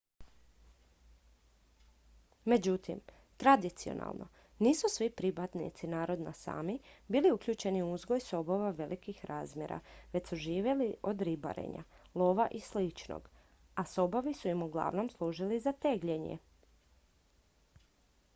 međutim tradicionalno nisu svi pripadnici naroda sámi bili uključeni u uzgoj sobova velikih razmjera već su živjeli od ribarenja lova i sličnog a sobovi su im uglavnom služili za tegljenje